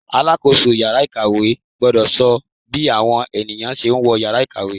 Aṣàkóso ìyára ìkàwé gbọ́dọ̀ sọ bí àwọn ènìyàn ṣe ń wọ Ìyàrá ìkàwé.